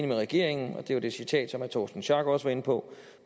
med regeringen og det var det citat herre torsten schack pedersen også var inde på